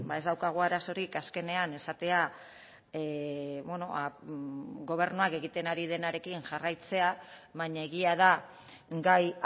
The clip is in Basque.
ez daukagu arazorik azkenean esatea gobernuak egiten ari denarekin jarraitzea baina egia da gai